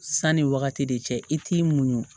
Sanni wagati de cɛ i t'i muɲu